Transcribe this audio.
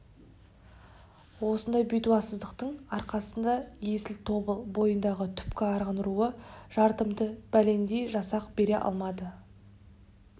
осындай бәтуасыздықтың арқасында есіл тобыл бойындағы түпкі арғын руы жартымды бәлендей жасақ бере алмады